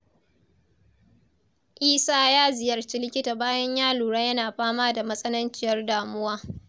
Isa ya ziyarci likita bayan ya lura yana fama da matsananciyar damuwa.